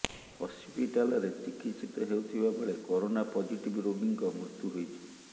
ହସ୍ପିଟାଲରେ ଚିକିତ୍ସିତ ହେଉଥିବାବେଳେ କରୋନା ପଜିଟିଭ୍ ରୋଗୀଙ୍କ ମୃତ୍ୟୁ ହୋଇଛି